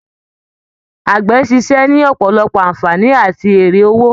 Àgbẹ̀ ṣíṣe ní ọ̀pọ̀lọpọ̀ ànfàní àti èrè owó.